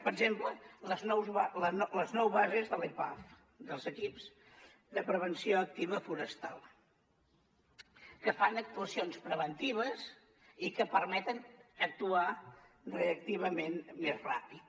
per exemple les nou bases de l’epaf dels equips de prevenció activa forestal que fan actuacions preventives i que permeten actuar reactivament més ràpid